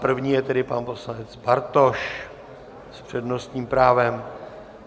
První je tedy pan poslanec Bartoš s přednostním právem.